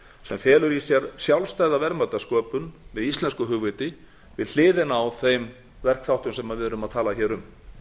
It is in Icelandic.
sem felur í sér sjálfstæða verðmætasköpun með íslensku hugviti við hliðina á þeim verkþáttum sem við erum að tala hér um